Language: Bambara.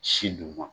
Si duguma